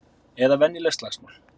Eða venjuleg slagsmál.